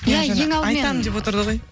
иә ең алдымен айтамын деп отырды ғой